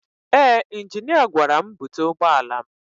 Ee injinia gwara m búte ụgbọala m.